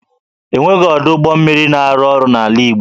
E nweghị ọdụ ụgbọ mmiri na-arụ ọrụ n'ala Igbo